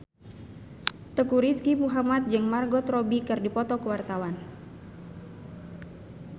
Teuku Rizky Muhammad jeung Margot Robbie keur dipoto ku wartawan